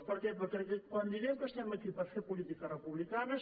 per què perquè quan diem que estem aquí per fer política republicana